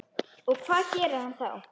Og hvað gerir hann þá?